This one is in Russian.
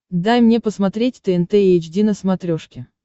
дай мне посмотреть тнт эйч ди на смотрешке